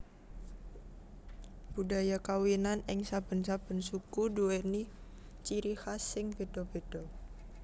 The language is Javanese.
Budhaya kawinan ing saben saben suku duwèni ciri khas sing bedha bedha